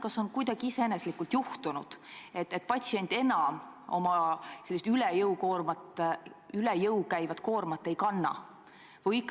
Kas on kuidagi iseenesest juhtunud, et patsient enam sellist üle jõu käivat koormat ei kanna?